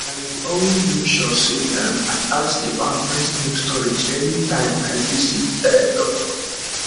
i dey always always make sure say um i ask about breastmilk storage anytime i visit um doctor